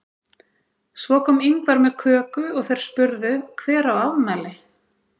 Svo kom Ingvar með köku og þeir spurðu Hver á afmæli?